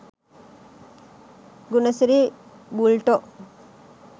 Gunasiri බුල්ටෝ